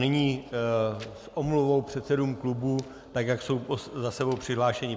Nyní s omluvou předsedům klubů, tak jak jsou za sebou přihlášeni.